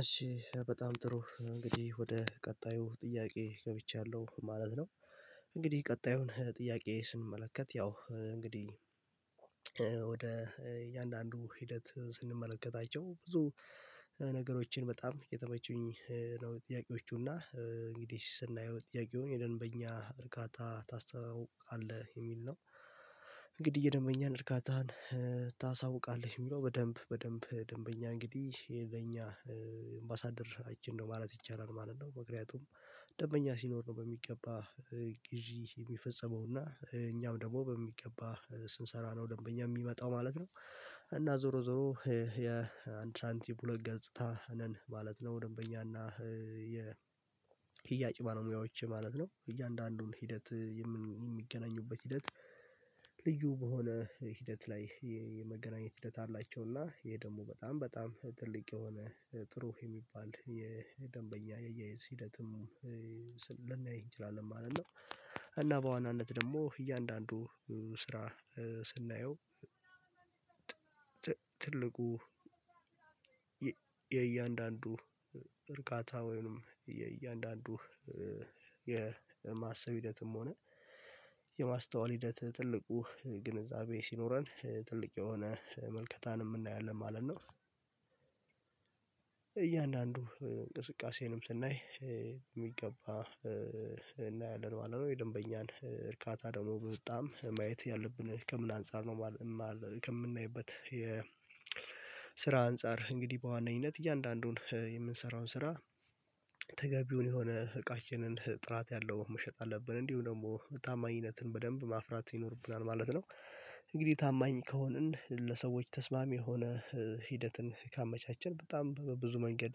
እሺ በጣም ጥሩ እንግዲህ ወደ ቀጣዩ ጥያቄ ገብቻለሁ ማለት ነው። እንግዲህ ቀጣዩን ጥያቄ ስንመለከት ያው እንግዲህ ወደ እያንዳንዱ ሂደት ስንመለከታቸው ብዙ ነገሮችን በጣም የተመቹኝ ነው። ጥያቄዎቹ እንግዲህ ስናየው ጥያቄውን የደንበኛ እርካታ ታስተውቃለህ የሚል ነው። የደንበኛን እርካታን ታሳውቃለህ የሚለው በደንብ በደንብ ደንበኛ እንግዲህ ይሄ ለኛ አምባሳደርችን ነው ማለት ይቻላል ማለት ነው። ምክንያቱም ደንበኛ ሲኖር ነው በሚገባ ግዢ የሚፈጸመው እና እኛም ደግሞ በሚገባ ስንሰራ ነው ደንበኛ የሚመጣው ማለት ነው። እና ዞሮ ዞሮ የአንድ ሰንቲም ሁለት ገጽታ ነን ማለት ነው። ደንበኛና ሽያጭ በልሙያዎች ማለት ነው እያንዳንዱን ሂደት የሚገናኙበት ሂደት ልዩ በሆነ ሂደት ላይ የመገናኘት ሂደት አላቸው። እና ይሄ ደግሞ በጣም በጣም ትልቅ የሆነ ጥሩ የሚባል የደንበኛ የአያያዝ ሂደትም ልናይ እንችላለን ማለት ነው። እና በዋናነት ደግሞ እያንዳንዱ ስራ ስናየው ትልቁ የእያንዳንዱ እርካታ ወይም የእያንዳንዱ የማሰብ ሂደትም ሆነ የማስተዋል ሂደት ትልቁ ግንዛቤ ሲኖረን ትልቅ የሆነ ምልከታንም እናያለን ማለት ነው። እያንዳንዱ እንቅስቃሴንም ስናይ የሚገባ እናያለን ማለት ነው የደንበኛን እርካታ ደግሞ በጣም ማየት ያለብን ከምን አንፃር ነው። ከምናይበት የ የስራ አንፃር እንግዲህ በዋነኝነት እያንዳንዱን የምንሰራውን ስራ ተገቢውን የሆነ እቃችንን ጥራት ያለው መሸጥ አለብን እንዲሁም ደግሞ ታማኝነትን በደንብ ማፍራት ይኖርብናል ማለት ነው። እንግዲህ ታማኝ ከሆንን ለሰዎች ተስማሚ የሆነ ሂደትን ካመቻቸን በጣም በብዙ መንገድ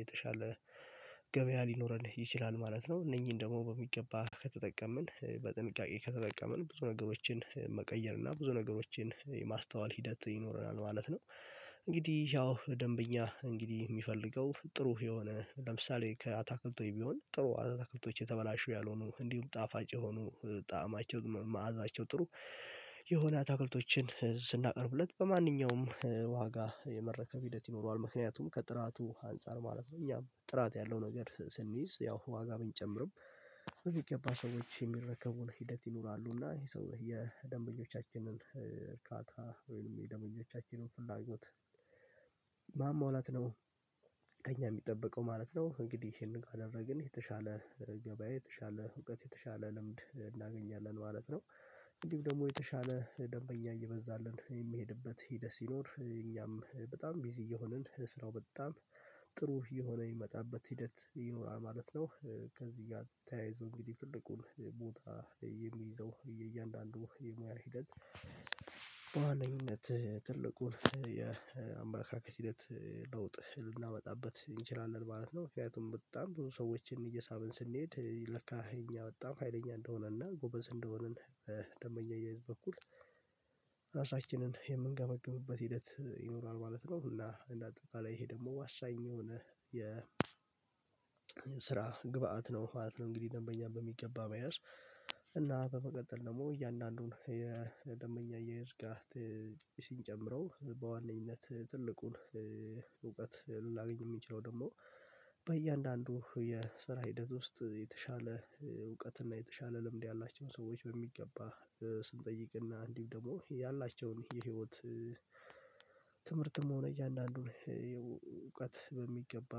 የተሻለ ገበያ ሊኖረን ይችላል ማለት ነው። እነኝን ደግሞ በሚገባ ከተጠቀምን በጥንቃቄ ከተጠቀምን ብዙ ነገሮችን መቀየር እና ብዙ ነገሮችን የማስተዋል ሂደት ይኖረናል ማለት ነው። እንግዲህ ያው ደንበኛ እንግዲህ የሚፈልገው ጥሩ የሆነ ለምሳሌ ከአታክልት ወይ ብሆን ጥሩ አታክልቶች የተበላሹ ያልሆኑ እንዲሁም ጣፋጭ የሆኑ ጣዕማቸው መዓዛቸው ጥሩ የሆነ አታክልቶችን ስናቀርብለት በማንኛውም ዋጋ የመረከብ ሂደት ይኖረዋል ምክንያቱም ከጥራቱ አንፃር ማለት ነው። እኛም ጥራት ያለው ነገር ስንይዝ ያው ዋጋ ብንጨምርም በምገባ ሰዎች የሚረከቡን ሂደት ይኖራሉ እና ይሄ ሰው የደንበኞቻችንን እርካታ ወይም የደንበኞቻችንን ፍላጎት ማሟላት ነው ከእኛ የሚጠበቀው ማለት ነው። እንግዲህ ይሄንን ካደረግን የተሻለ ገበያዬ የተሻለ እውቀት የተሻለ ልምድ እናገኛለን ማለት ነው። እንዲሁ ደግሞ የተሻለ ደንበኛ እየበዛልን የሚሄድበት ሂደት ሲኖር እኛም በጣም ቢዚ እየሆንን ስራው በጣም ጥሩ እየሆነ የሚመጣበት ሂደት ይኖራል ማለት ነው። ከዚህ ጋር ተያይዞ እንግዲህ ትልቁን ቦታ የሚይዘው የእያንዳንዱ የሙያ ሂደት በዋነኝነት ትልቁን የአመለካከት ሂደት ለውጥ ልናመጣበት እንችላለን ማለት ነው። ምክንያቱም በጣም ብዙ ሰዎችን እየሳብን ስንሄድ ለካ እኛ በጣም ሀይለኛ እንደሆነና ጎበዝ እንደሆንን በደንበኛ እያየን በኩል ራሳችንን የምንገመግምበት ሂደት ይኖራል ማለት ነው። እና እንደ አጠቃላይ ይሄ ደግሞ ዋሳኝ የሆነ የስራ ግብአት ነው ማለት ነው። እንግዲህ ደንበኛ በሚገባ መያዝ እና በመቀጠል ደግሞ እያንዳንዱን የደንበኛ አያያዝ ጋር ሲንጨምረው በዋነኝነት ትልቁን እውቀት ልናገኝ የሚችለው ደግሞ በእያንዳንዱ የስራ ሂደት ውስጥ የተሻለ እውቀት እና የተሻለ ልምድ ያላቸውን ሰዎች በሚገባ ስንጠይቅ እና እንዲሁም ደግሞ ያላቸውን የህይወት ትምህርትም ሆነ እያንዳንዱን እውቀት በሚገባ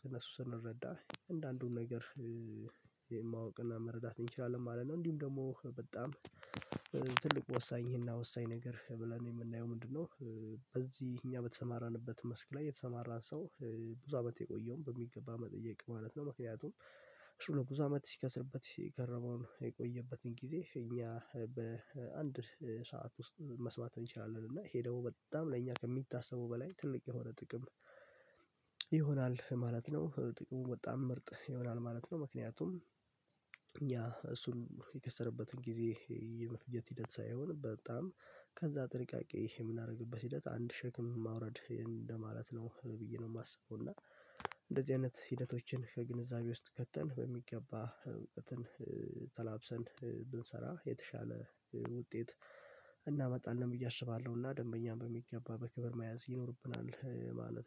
ከእነሱ ስንረዳ አንዳንዱን ነገር ማወቅና መረዳት እንችላለን ማለት ነው። እንዲሁም ደግሞ በጣም ትልቅ ወሳኝ ይሄን ወሳኝ ነገር ብለን የምናየው ምንድነው? በዚህ እኛ በተሰማራንበት መስክ ላይ የተሰማራ ሰው ብዙ አመት የቆየውን በሚገባ መጠየቅ ማለት ነው። ምክንያቱም ቶሎ ብዙ አመት ሲከስርበት የከረመውን የቆየበትን ጊዜ እኛ በአንድ ሰዓት ውስጥ መስማት እንችላለን እና ይሄ ደግሞ በጣም ለእኛ ከሚታሰቡ በላይ ትልቅ የሆነ ጥቅም ይሆናል ማለት ነው። ጥቅሙ በጣም ምርጥ ይሆናል ማለት ነው። ምክንያቱም ያ እሱን የከሰረበትን ጊዜ የመፍጀት ሂደት ሳይሆን በጣም ከዚያ ጥንቃቄ የምናደርግበት ሂደት አንድ ሸክም ማውረድ እንደማለት ነው ብዬ ነው የማስበው። እና እንደዚህ አይነት ሂደቶችን ከግንዛቤ ውስጥ ከተን በሚገባ እውቀትን ተላብሰን ብንሰራ የተሻለ ውጤት እናመጣለን ብዬ አስባለሁ እና ደንበኛ በሚገባ በክብር መያዝ ይኖርብናል ማለት ነው